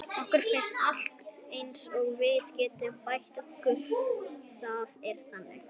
Okkur finnst alltaf eins og við getum bætt okkur og það er þannig.